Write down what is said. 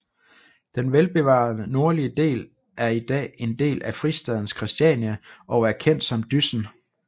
Den velbevarede nordlige del er i dag en del af fristaden Christiania og er kendt som Dyssen